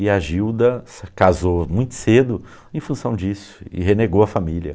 E a Gilda se casou muito cedo em função disso e renegou a família.